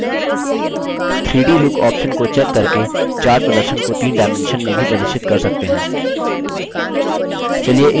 3d look option को check करके chart प्रदर्शन को तीन डायमेंशन में भी प्रदर्शित कर सकते हैं